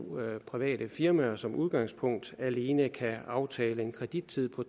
private firmaer som udgangspunkt alene kan aftale en kredittid på